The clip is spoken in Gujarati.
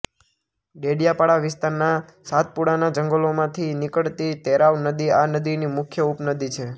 ડેડીયાપાડા વિસ્તારના સાતપુડાના જંગલોમાંથી નીકળતી તેરાવ નદી આ નદીની મુખ્ય ઉપનદી છે